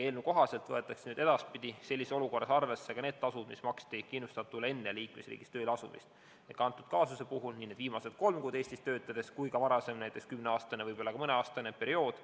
Eelnõu kohaselt võetakse edaspidi sellises olukorras arvesse ka need tasud, mis maksti kindlustatule enne muus liikmesriigis tööle asumist, konkreetse kaasuse puhul siis nii need viimased kolm kuud Eestis töötades kui ka varasem kümne aasta pikkune periood.